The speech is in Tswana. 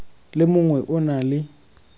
le mongwe o na le